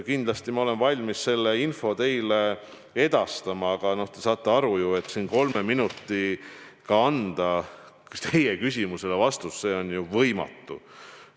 Kindlasti ma olen valmis selle info teile edastama, aga te saate ju aru, et kolme minutiga anda siin teie küsimusele vastust on võimatu.